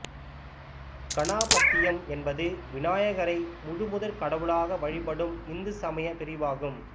கணாபத்தியம் என்பது விநாயகரை முழுமுதற் கடவுளாக வழிபடும் இந்துசமயப் பிரிவாகும்